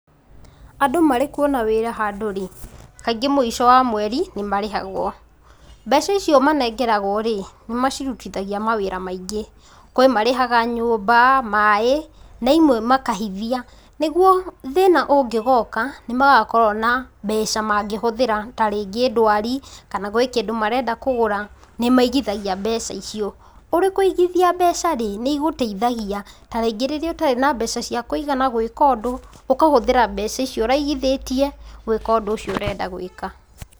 Andũ marĩ kũona wĩra handũ rĩ, kaingĩ mũico wa mweri nĩmarĩhagwo, mbeca icio manengeragwo rĩ nĩ macirutithagia mawĩra maingĩ; kwĩ marĩhaga nyũmba, maĩ na ĩmwe makahithia, nĩguo thĩna ũngĩgoka nĩmagakorwa na mbeca mangĩhũthĩra ta rĩngĩ ndwari kana gwĩkĩndũ marenda kũgũra nĩmaigithagia mbeca icio. Ũrĩ kũigithia mbeca rĩ, nĩigũteithagia tarĩngĩ rĩrĩa ũtarĩ na mbeca cia kũigana gwika ũndũ ũkahũthira mbeca icio ũraigithĩtie gwĩka ũndũ ũcio ũrenda gwĩka.